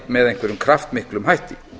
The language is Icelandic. með einhverjum kraftmiklum hætti